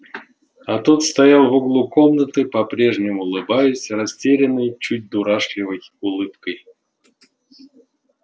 а тот стоял в углу комнаты по-прежнему улыбаясь растерянной чуть дурашливой улыбкой